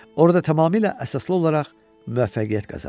Orda tamamilə əsaslı olaraq müvəffəqiyyət qazanır.